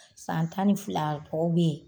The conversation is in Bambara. San tan ni filakaw be yen